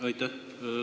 Aitäh!